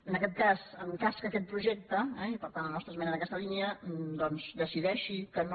en aquest cas en cas que aquest projecte eh i per tant la nostra esmena en aquesta línia doncs es decideixi que no